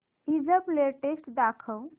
ईबझ लेटेस्ट दाखव